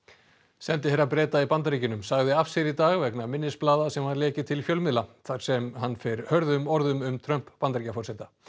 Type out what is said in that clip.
sendiherra Breta í Bandaríkjunum sagði af sér í dag vegna minnisblaða sem var lekið til fjölmiðla þar sem hann fer hörðum orðum um Trump Bandaríkjaforseta